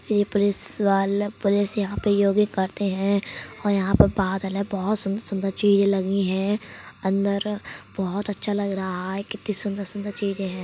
ये पोलिस वाला पोलिस यहाँ पे योगिंग करते हैं और यहाँ पे बादल है। बोहोत सुंदर-सुंदर चीज़े लगी हैं। अंदर बोहोत अच्छा लग रहा है। कितनी सुंदर सुन्दर चीज़े हैं।